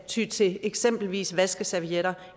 ty til eksempelvis vaskeservietter